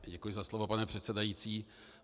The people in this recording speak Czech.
Děkuji za slovo, pane předsedající.